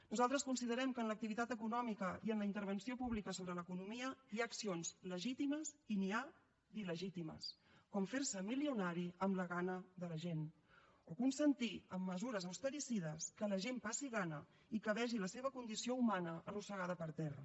nosaltres considerem que en l’activitat econòmica i en la intervenció pública sobre l’economia hi ha accions legítimes i n’hi ha d’il·legítimes com fer se milionari amb la gana de la gent o consentir amb mesures austericides que la gent passi gana i que vegi la seva condició humana arrossegada per terra